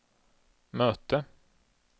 möte